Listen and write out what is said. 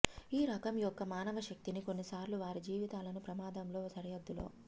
ఈ రకం యొక్క మానవ శక్తిని కొన్నిసార్లు వారి జీవితాలను ప్రమాదం లో సరిహద్దులో